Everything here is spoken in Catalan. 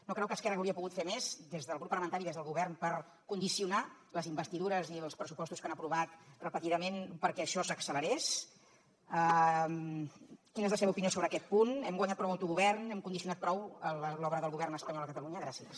no creu que esquerra hauria pogut fer més des del grup parlamentari des del govern per condicionar les investidures i els pressupostos que han aprovat repetidament perquè això s’accelerés quina és la seva opinió sobre aquest punt hem guanyat prou autogovern hem condicionat prou l’obra del govern espanyol a catalunya gràcies